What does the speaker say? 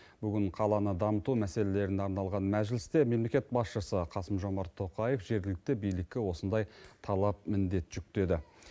бүгін қаланы дамыту мәселелеріне арналған мәжілісте мемлекет басшысы қасым жомарт тоқаев жергілікті билікке осындай талап міндет жүктеді